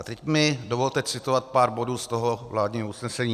A teď mi dovolte citovat pár bodů z toho vládního usnesení.